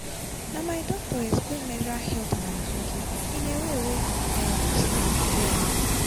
na my doctor explain menstrual health and hygiene give me in a way wey i understand well.